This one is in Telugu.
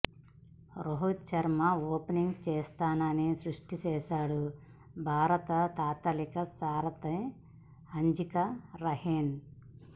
రోహిత్ శర్మ ఓపెనింగ్ చేస్తానని స్పష్టం చేశాడు భారత తాత్కాలిక సారథి అజింకా రహానే